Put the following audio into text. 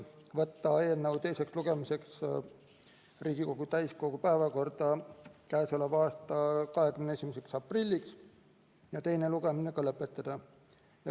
Võtta eelnõu teiseks lugemiseks Riigikogu täiskogu päevakorda k.a 21. aprilliks ja teine lugemine lõpetada.